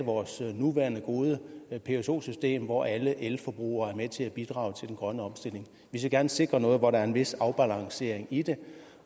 vores nuværende gode pso system hvor alle elforbrugere er med til bidrage til den grønne omstilling vi skal gerne sikre noget hvor der er en vis afbalancering i det